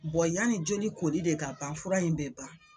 yanni joli koli de ka ban fura in bɛ ban.